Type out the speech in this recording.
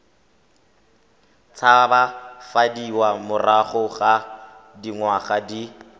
tshabafadiwa morago ga dingwaga di